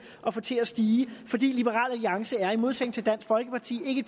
at få til at stige for liberal alliance er i modsætning til dansk folkeparti